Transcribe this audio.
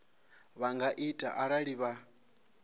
vha nga ita arali vha